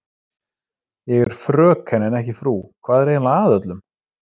Ég er FRÖKEN en ekki frú, hvað er eiginlega að öllum?